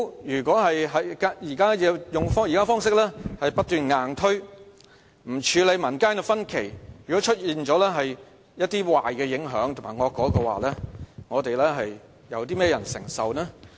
如果政府不斷用現時的方式硬推，不處理民間的分歧，如果出現了一些壞影響及惡果的話，會由甚麼人承受呢？